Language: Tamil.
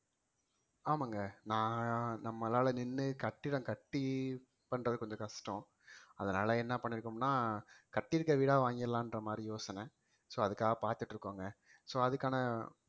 ஆமாங்க நான் நம்மளால நின்று கட்டிடம் கட்டி பண்றது கொஞ்சம் கஷ்டம் அதனால என்ன பண்ணியிருக்கோம்னா கட்டி இருக்கிற வீடா வாங்கிடலான்ற மாதிரி யோசனை so அதுக்காக பார்த்துட்டு இருக்கோங்க so அதுக்கான